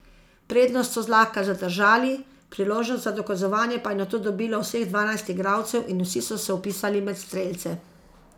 Prednost so zlahka zadržali, priložnost za dokazovanje pa je nato dobilo vseh dvanajst igralcev in vsi so se vpisali med strelce.